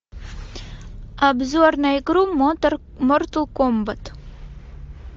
обзор на игру мортал комбат